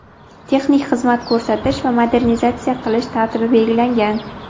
texnik xizmat ko‘rsatish va modernizatsiya qilish tartibi belgilangan.